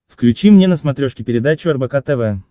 включи мне на смотрешке передачу рбк тв